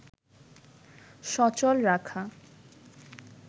সচল রাখা